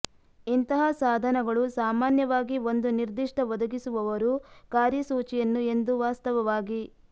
ಇಂತಹ ಸಾಧನಗಳು ಸಾಮಾನ್ಯವಾಗಿ ಒಂದು ನಿರ್ದಿಷ್ಟ ಒದಗಿಸುವವರು ಕಾರ್ಯಸೂಚಿಯನ್ನು ಎಂದು ವಾಸ್ತವವಾಗಿ